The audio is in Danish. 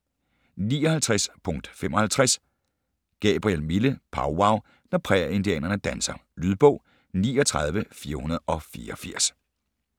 59.55 Gabriel, Mille: Powwow - når prærieindianerne danser Lydbog 39484